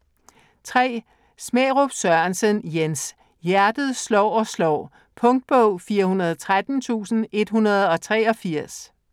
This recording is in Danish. Smærup Sørensen, Jens: Hjertet slår og slår Punktbog 413183